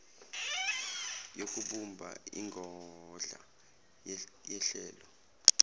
yokubumba ingodla yehlelo